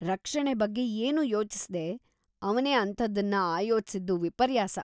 ರಕ್ಷಣೆ ಬಗ್ಗೆ ಏನೂ ಯೋಚಿಸ್ದೇ, ಅವ್ನೇ ಅಂಥದ್ದನ್ನ ಆಯೋಜ್ಸಿದ್ದು ವಿಪರ್ಯಾಸ.